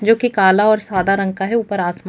जोकि काला और सादा रंग का है ऊपर आसमान--